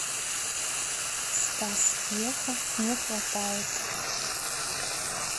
стас пьеха не хватает